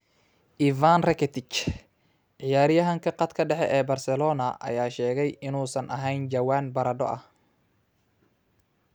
Ivan Rakitic: Ciyaaryahanka khadka dhexe ee Barcelona ayaa sheegay inuusan ahayn jawaan baradho ah